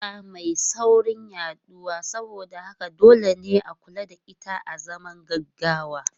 Cuta mai saurin yaduwa saboda haka dole ne a kula da ita azaman gaggawa.